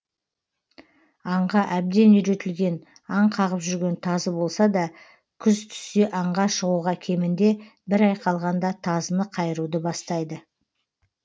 аңға әбден үйретілген аң қағып жүрген тазы болса да күз түссе аңға шығуға кемінде бір ай қалғанда тазыны қайыруды бастайды